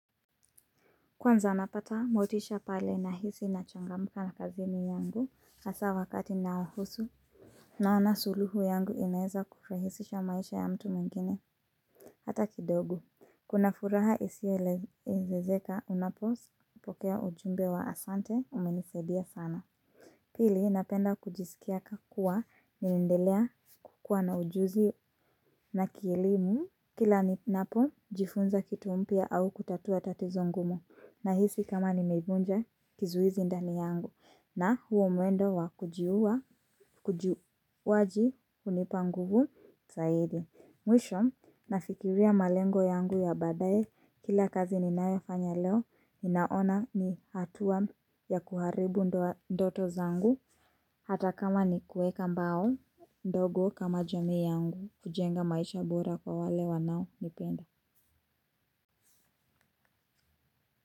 Kwanza napata motisha pale na hisi na changamka na kazini yangu hasa wakati inayohusu naona suluhu yangu inaweza kufurahisisha maisha ya mtu mwingine. Hata kidogo kuna furaha isio elezezeka unapo pokea ujumbe wa asante umenisaidia sana. Pili napenda kujisiki kuwa ni nindelea kukua na ujuzi na kielimu. Kila ni napo jifunza kitu umpia au kutatua tatizo ngumu. Na hisi kama ni mibunja kizuizi ndani yangu na huo mwendo wa kujiuwa kujiuwa waji unipangubu zaidi. Mwisho nafikiria malengo yangu ya badaye kila kazi ninayo fanya leo inaona ni hatua ya kuharibu ndoto zangu. Hata kama ni kuweka mbao ndogo kama jamii yangu kujenga maisha bora kwa wale wanao nipenda.